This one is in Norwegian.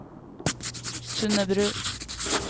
Sundebru